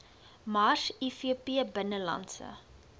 mars ivp binnelandse